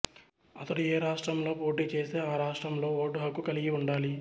అతడు ఏ రాష్ట్రంలో పోటీ చేస్తే ఆ రాష్ట్రంలో ఓటు హక్కు కలిగి ఉండాలి